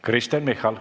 Kristen Michal.